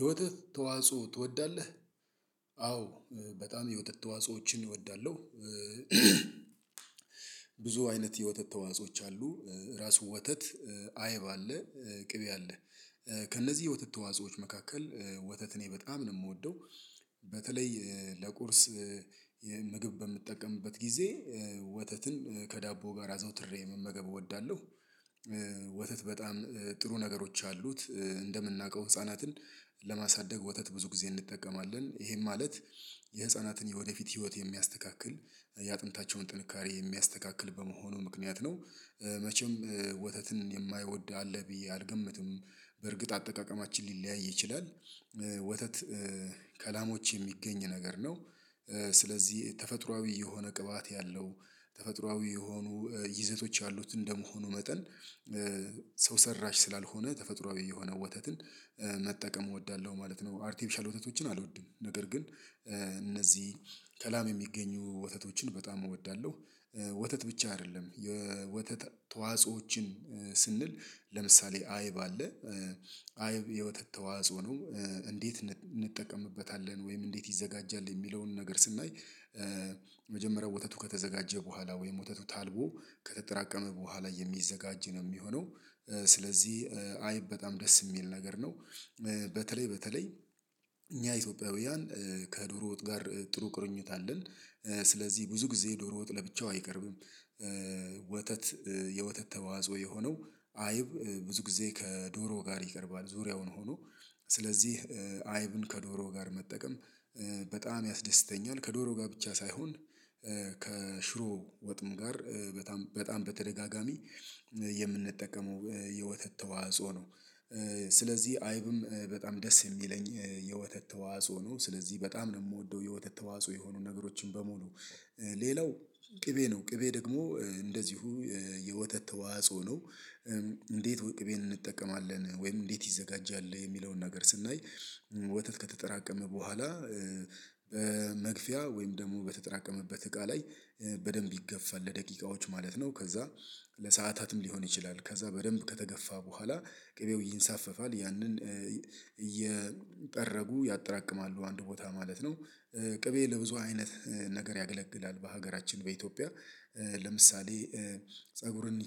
የወተት ተዋጽኦ ትወዳለህ? አዎ በጣም የወተት ተዋጾዎችን እወዳለሁ። ብዙ አይነት የወተት ተዋጾዎች አሉ። ራሱ ወተት አይብ አለ። ቅቤ አለ። ከእነዚህ የውተት ተዋጾዎች መካከል ወተት እኔ በጣም ነው የምወደው በተለይ ለቁርስ ምግብ በምጠቀምበት ጊዜ ወተትን ከዳቦ ጋር አዘውትሬ መመገብ እወዳለሁ። ወተት በጣም ጥሩ ነገሮች አሉት እንደምናውቀው ህፃናትን ለማሳደግ ወተት ብዙ ጊዜ እንጠቀማለን ይሄም ማለት የህፃናትን የወደፊት ህይወት የሚያስተካክል የአጥንታቸውን ጥንካሬ የሚያስተካክል በመሆኑ ምክንያት ነው። መቼም ወተትን የማይወድ አለ ብዬ አልገምትም። በእርግጥ አጠቃቀማችን ሊለያይ ይችላል። ወተት ከላሞች የሚገኝ ነገር ነው። ስለዚህ ተፈጥሮአዊ የሆነ ቅባት ያለው ተፈጥሮአዊ የሆኑ ይዘቶች ያሉት እንደመሆኑ መጠን ሰው ሰራሽ ስላልሆነ ተፈጥሮአዊ የሆነ ወተትን መጠቀም እወዳለሁ ማለት ነው። አርቲፊሻል ወተቶችን አልወድም ነገር ግን እነዚህ ከላም የሚገኙ ወተቶችን በጣም እወዳለሁ። ወተት ብቻ አይደለም የወተት ተዋጽኦዎችን። ስንል ለምሳሌ አይብ አለ አይብ የወተት ተዋጽኦ ነው። እንዴት እንጠቀምበታለን ወይም እንዴት ይዘጋጃል የሚለውን ነገር ስናይ መጀመሪያ ወተቱ ከተዘጋጀ በኋላ ወይም ወተቱ ታልቦ ከተጠራቀመ በኋላ የሚዘጋጅ ነው የሚሆነው ስለዚህ አይብ በጣም ደስ የሚል ነገር ነው። በተለይ በተለይ እኛ ኢትዮጵያውያን ከድሮ ወጥ ጋር ጥሩ ቁርኝት አለን። ስለዚህ ብዙ ጊዜ ዶሮ ወጥ ለብቻው አይቀርብም። ወተት የወተት ተዋጽኦ የሆነው አይብ ብዙ ጊዜ ከዶሮ ጋር ይቀርባል ዙሪያውን ሆኖ ስለዚህ አይብን ከዶሮ ጋር መጠቀም በጣም ያስደስተኛል ከዶሮ ጋር ብቻ ሳይሆን ከሽሮ ወጥም ጋር በጣም በተደጋጋሚ የምንጠቀመው የወተት ተዋጽኦ ነው። ስለዚህ አይብም በጣም ደስ የሚለኝ የወተት ተዋጽኦ ነው ስለዚህ በጣም ነው የምወደው የወተት ተዋጽኦ የሆኑ ነገሮችን በሙሉ ሌላው ቅቤ ነው ቅቤ ደግሞ እንደዚሁ የወተት ተዋጽኦ ነው። እንዴት ቅቤን እንጠቀማለን ወይም እንዴት ይዘጋጃል የሚለውን ነገር ስናይ ወተት ከተጠራቀመ በኋላ በመግፊያ ወይም ደግሞ በተጠራቀመበት እቃ ላይ በደንብ ይገፋል ለደቂቃዎች ማለት ነው። ከዛ ለሰአታትም ሊሆን ይችላል ከዛ በደንብ ከተገፋ በኋላ ቅቤው ይንሳፈፋል ያንን እየጠረጉ ያጠራቅማሉ አንድ ቦታ ማለት ነው። ቅቤ ለብዙ አይነት ነገር ያገለግላል በሀገራችን በኢትዮጵያ ለምሳሌ ፀጉርን